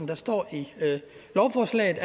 der står i lovforslaget